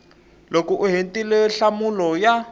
loko u hetile nhlamulo ya